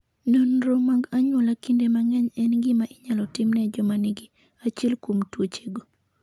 Nonro mag anyuola kinde mang'eny en gima inyalo tim ne joma nigi achiel kuom tuochego.